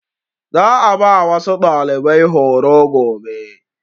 Za a ba wasu ɗalibai horo gobe.